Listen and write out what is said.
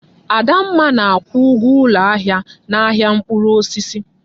Adamma na-akwụ ụgwọ ụlọ ahịa n'ahịa mkpụrụ osisi.